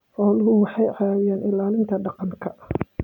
Xooluhu waxay caawiyaan ilaalinta deegaanka.